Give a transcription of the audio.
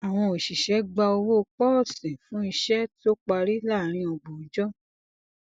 awọn oṣiṣẹ gba owó pọọsìn fún iṣẹ tó parí láàárín ọgbọn ọjọ